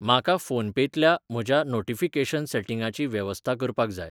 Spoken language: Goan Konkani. म्हाका फोनपेंतल्या म्हज्या नोटीफिकेशन सेटिंगाची वेवस्था करपाक जाय.